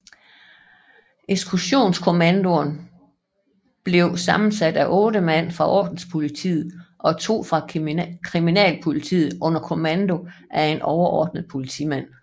Eksekutionskommandoerne blev sammensat af 8 mand fra ordenspolitiet og to fra kriminalpolitiet under kommando af en overordnet politimand